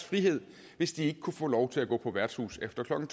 frihed hvis de ikke kunne få lov til at gå på værtshus efter klokken